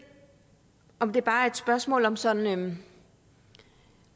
om det bare er et spørgsmål om sådan